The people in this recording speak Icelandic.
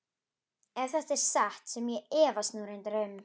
Ef þetta er satt sem ég efast nú reyndar um.